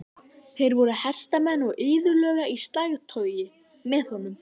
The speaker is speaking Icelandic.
Þeir voru hestamenn og iðulega í slagtogi með honum.